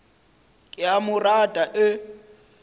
ke a mo rata e